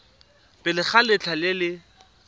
pele ga letlha le le